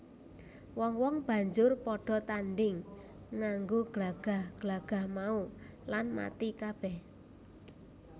Wong wong banjur padha tandhing nganggo glagah glagah mau lan mati kabeh